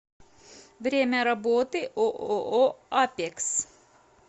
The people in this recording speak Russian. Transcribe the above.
время работы ооо апекс